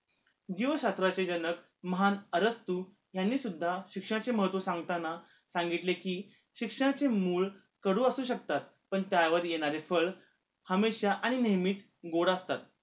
जीव शास्त्राचे जनक महान अरब तु यांनी सुद्धा शिक्षणाचे महत्व सांगताना सांगितले कि शिक्षणाचे मूळ कडू असू शकतात पण त्यावर येणारे फळं हमेशा आणि नेहमीच गोड असतात